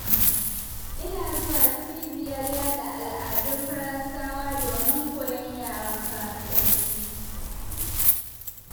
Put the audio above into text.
Ina zuwa cibiyar ƴaɗa al'adun Faransawa, domin koyon yaren Faransanci.